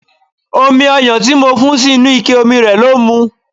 Omi ọyan tí mo fún sí inú ike omi rẹ ló mu.